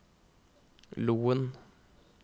Loen